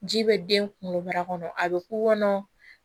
Ji bɛ den kunkoloba kɔnɔ a bɛ k'u kɔnɔ